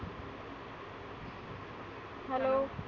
hello